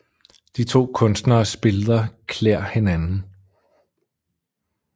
De to Kunstneres Billeder klæder hinanden